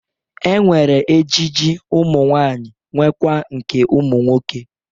E nwere ejiji ụmụnwaanyị nwekwa nke ụmụ nwoke.